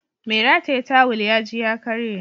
Mai rataye tawul ya ji ya karye